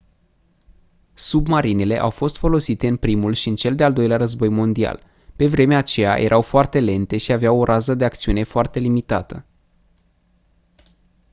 submarinele au fost folosite în primul și în cel de-al doilea război mondial pe vremea aceea erau foarte lente și aveau o rază de acțiune foarte limitată